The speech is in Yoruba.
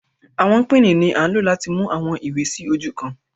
Awọn pinni ni a lo lati mu awọn iwe si oju kan